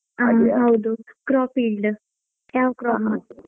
ಹಾ ಹೌದುcrop yield ಯಾವ crop?